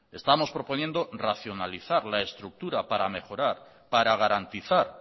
estamos proponiendo racionalizar la estructura para mejorar para garantizar